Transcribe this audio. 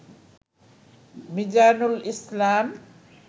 Mizanul Islam